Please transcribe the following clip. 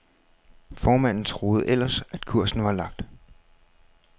Formanden troede ellers, at kursen var lagt.